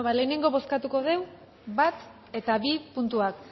lehenengo bozkatuko dugu bat eta bi puntuak